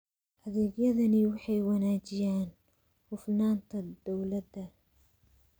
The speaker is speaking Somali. Adeegyadani waxay wanaajiyaan hufnaanta dawladda.